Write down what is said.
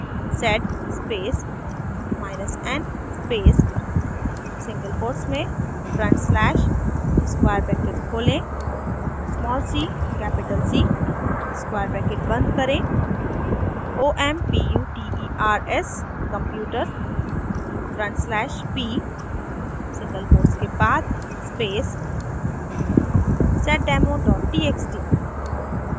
sed space n space single quotes में front slash square bracket खोलें cc square bracket बंद करें omputers/p सिंगल क्वोट्स के बाद space seddemotxt